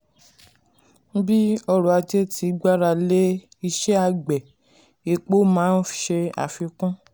bí ọrọ̀ ajé ti gbára lé iṣẹ́ àgbẹ̀ epo máa n ṣe àfikún.